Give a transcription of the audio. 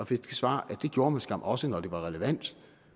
fik det svar at det gjorde man skam også når det var relevant